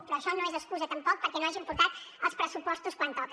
però això no és excusa tampoc perquè no hagin portat els pressupostos quan toca